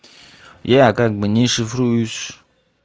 я как бы не шифруюсь